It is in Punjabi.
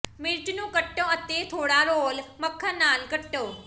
ਮਿਰਚ ਨੂੰ ਕੱਟੋ ਅਤੇ ਥੋੜਾ ਰੋਲ ਮੱਖਣ ਨਾਲ ਕੱਟੋ